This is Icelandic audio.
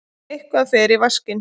Eitthvað fer í vaskinn